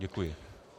Děkuji.